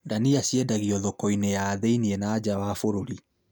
Ndania ciendagio thoko-inĩ ya thĩiniĩ na nja wa bũrũri